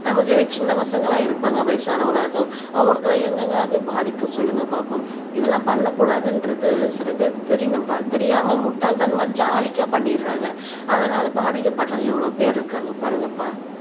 நமக்கு கீழ சின்ன பசங்களாம் இருப்பாங்க வயசானவங்களா இருப்பாங்க அவங்களுக்கெல்லாம் எங்கெங்கெல்லாம் போய் பாதிக்கும் சொல்லுங்க பார்ப்போம் இதெல்லாம் பண்ணக்கூடாதுன்றது சில பேருக்கு தெரியணும்ப்பா தெரியாமல் முட்டாள்தனமா ஜாலிகா பண்ணிடுறாங்க அதனால பாதிக்கப்படுறவங்க எவ்வளவு பேர் இருக்காங்க பாருங்கப்பா